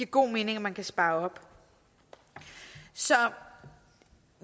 god mening at man kan spare op så